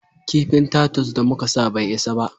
Kifin tatus da muka sa bai isa ba